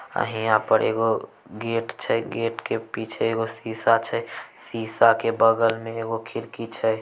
और यहाँ पे एगो गेट छै गेट के पीछे एगो सीसा छै सीसा के बगल में एगो खिड़की छै।